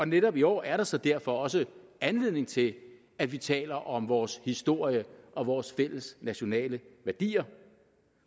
netop i år er der så derfor også anledning til at vi taler om vores historie og vores fælles nationale værdier